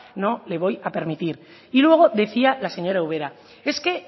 no le voy a permitir y luego decía la señora ubera es que